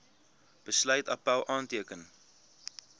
besluit appèl aanteken